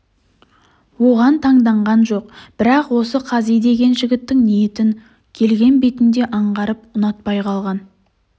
оған таңданған жоқ бірақ осы қази деген жігіттің ниетін келген бетінде аңғарып ұнатпай қалған